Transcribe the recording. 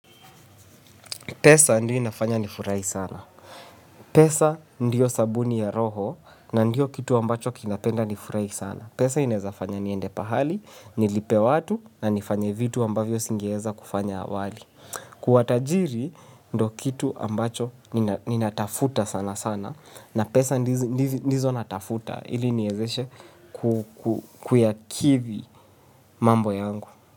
Pesa ndio inafanya nifurai sana. Pesa ndio sabuni ya roho na ndio kitu ambacho kinapenda nifurahi sana. Pesa inawezafanya niende pahali, nilipe watu na nifanye vitu ambavyo singeeza kufanya awali. Kuwa tajiri ndio kitu ambacho ninatafuta sana sana na pesa ndizo natafuta ili niwezeshe kuyakivi mambo yangu.